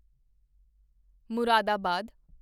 Moradabad